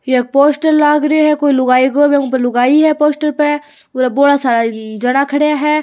या पोस्टर लाग रयो है कोई लुगाई को बीक ऊपर लुगाई है पोस्टर पे और बोला सारा जना खड्या है।